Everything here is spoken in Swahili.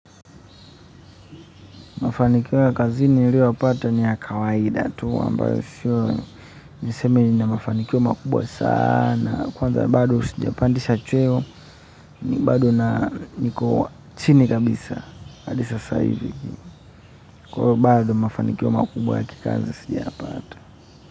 Mafanikio ya kazini niliyoyapata ni ya kawaida tu ambayo sio nisemi ninamafanikio makubwa sana, kwanza bado sijapandisha chweo ni bado na niko chini kabisa hadi sasa hivi. Kwahiyo bado mafanikio makubwa ya kikazi sijayapata.